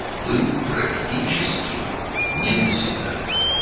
demək olar ki, əlçatmaz idi.